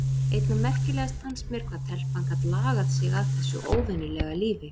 Einna merkilegast fannst mér hvað telpan gat lagað sig að þessu óvenjulega lífi.